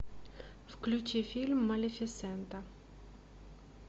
включи фильм малефисента